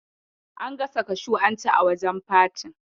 An gasa kashu an ci a wajen fatin.